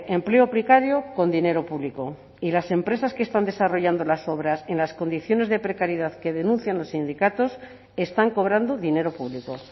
empleo precario con dinero público y las empresas que están desarrollando las obras en las condiciones de precariedad que denuncian los sindicatos están cobrando dinero público